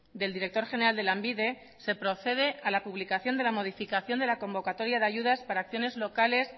del director general de lanbide se procede a la publicación de la modificación de la convocatoria de ayudas locales